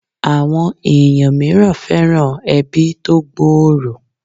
Àwọn èèyàn mìíràn fẹ́ràn ẹbí tó gbòòrò